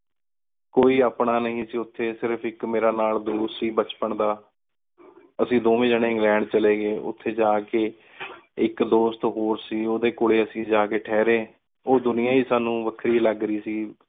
ਕੋਈ ਆਪਣਾ ਨੀ ਸੀ ਓਥੀ ਸਿਰਫ ਇਕ ਮੇਰਾ ਨਾਲ ਦੋਸਤ ਸੀ ਬਚਪਨ ਦਾ। ਅੱਸੀ ਦੋਂਵੇਂ ਜਣੇ ਇੰਗ੍ਲੈੰਡ ਚਲੇ ਗਏ ਓਥੇ ਜਾ ਕੇ ਇਕ ਦੋਸਤ ਹੋਰ ਸੀ ਓਦੇ ਕੋਲੇ ਅੱਸੀ ਜਾ ਕੇ ਠਹਰੇ। ਓਹ ਦੁਨਿਯਾ ਈ ਸਾਨੂ ਵਖਰੀ ਲਾਗ ਰਹੀ ਸੀ।